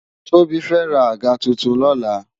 Tobi fè rá ágà tútún lòlá